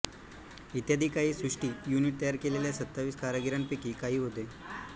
इत्यादी काही सृष्टी युनिट तयार केलेल्या सत्तावीस कारागीरांपैकी काही होते